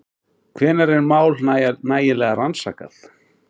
Hvenær er mál nægilega rannsakað?